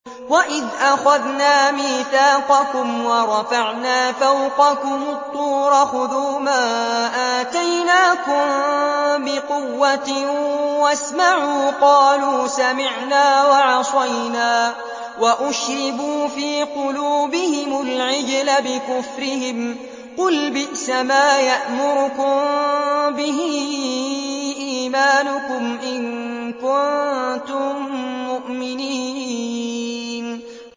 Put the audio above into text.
وَإِذْ أَخَذْنَا مِيثَاقَكُمْ وَرَفَعْنَا فَوْقَكُمُ الطُّورَ خُذُوا مَا آتَيْنَاكُم بِقُوَّةٍ وَاسْمَعُوا ۖ قَالُوا سَمِعْنَا وَعَصَيْنَا وَأُشْرِبُوا فِي قُلُوبِهِمُ الْعِجْلَ بِكُفْرِهِمْ ۚ قُلْ بِئْسَمَا يَأْمُرُكُم بِهِ إِيمَانُكُمْ إِن كُنتُم مُّؤْمِنِينَ